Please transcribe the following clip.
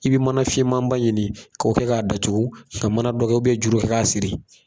I bɛ mana finma ba ɲini k'o kɛ k'a datugu ka mana dɔ kɛ ka juru kɛ k'a siri.